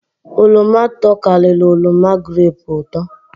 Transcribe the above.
Oroma tokariri oroma grepu uto